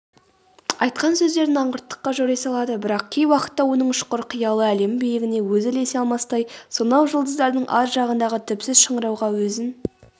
айтқан сөздерін аңғырттыққа жори салады бірақ кей уақытта оның ұшқыр қиялы әлем биігіне өзі ілесе алмастай сонау жұлдыздардың ар жағындағы түпсіз шыңырауға өзін